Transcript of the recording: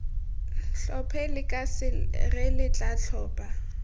tlhophe lekase re tla tlhopha